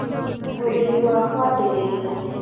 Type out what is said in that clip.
Ũrĩmi wa kũambĩrĩria